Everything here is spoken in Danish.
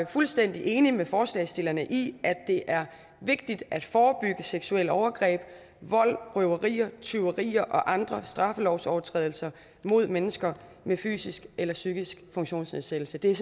fuldstændig enig med forslagsstillerne i at det er vigtigt at forebygge seksuelle overgreb vold røverier tyverier og andre straffelovsovertrædelser mod mennesker med fysisk eller psykisk funktionsnedsættelse det er